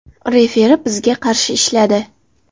Referi bizga qarshi ishladi.